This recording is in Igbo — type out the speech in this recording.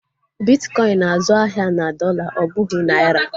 Bitkọin na-azụ ahịa na dọla ọ bụghị naira